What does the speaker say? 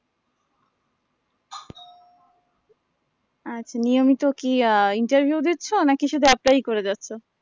আচ্ছা নিয়মিত কি আহ interview দিচ্ছ নাকি শুধু apply ই করে যাচ্ছ